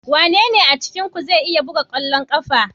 Wanene a cikinku zai iya buga kwallon kafa?